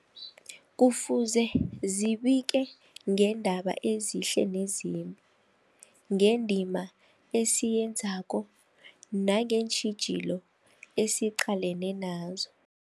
Kufuze zibike ngeendaba ezihle nezimbi, ngendima esiyenzako nangeentjhijilo esiqalene nazo.